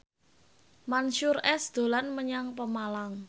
Mansyur S dolan menyang Pemalang